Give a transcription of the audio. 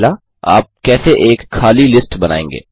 1आप कैसे एक खली लिस्ट बनाएँगे